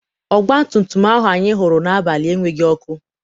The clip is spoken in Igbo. ọgbatumtum ahụ anyị hụrụ n'abalị enweghị ọkụ.